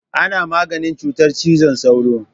Ana maganin cutar cizon sauro.